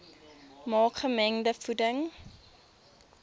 maak gemengde voeding